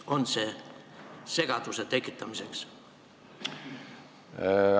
On see segaduse tekitamiseks?